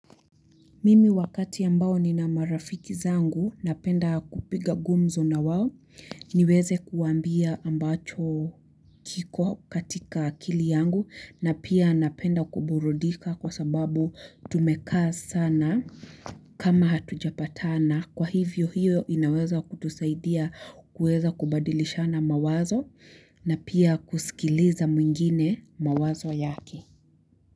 Mimi wakati ambao nina marafiki zangu napenda kupiga gumzo na wao niweze kuambia ambacho kiko katika akili yangu na pia napenda kuburudika kwa sababu tumeka sana kama hatujapatana kwa hivyo hiyo inaweza kutusaidia kuweza kubadilishana mawazo na pia kusikiliza mwingine mawazo yake.